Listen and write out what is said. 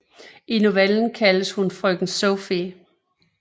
I novellen kaldes hun frøken Sophie